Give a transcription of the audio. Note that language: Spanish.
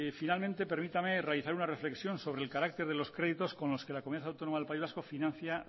finalmente permítame realizar una reflexión sobre el carácter de los créditos con los que la comunidad autónoma del país vasco financia